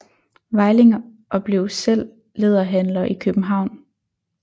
Veiling og blev selv læderhandler i København